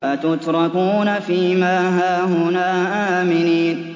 أَتُتْرَكُونَ فِي مَا هَاهُنَا آمِنِينَ